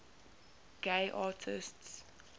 gay artists